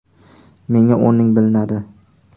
Menga o‘rning bilinadi”.